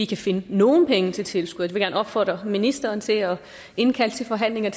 kan finde nogle penge til tilskud gerne opfordre ministeren til at indkalde til forhandlinger